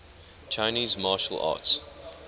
chinese martial arts